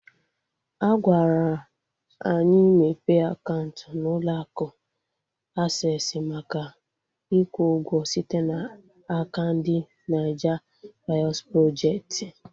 Agwara anyị mepe akaụntụ na ụlọ akụ Aksesị maka ikwu ụgwọ site n'aka ndị Naija vọis projekti